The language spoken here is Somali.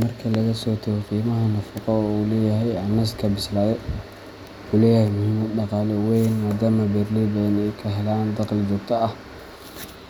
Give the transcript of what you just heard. Marka laga soo tago qiimaha nafaqo ee uu leeyahay, canaska bisilade wuxuu leeyahay muhiimad dhaqaale oo weyn, maadaama beeraley badan ay ka helaan dakhli joogto ah